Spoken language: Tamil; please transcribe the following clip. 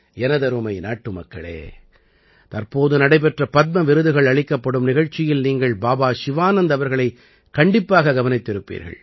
எனதருமை நாட்டுமக்களே தற்போது நடைபெற்ற பத்ம விருதுகள் அளிக்கப்படும் நிகழ்ச்சியில் நீங்கள் பாபா சிவானந்த் அவர்களைக் கண்டிப்பாக கவனித்திருப்பீர்கள்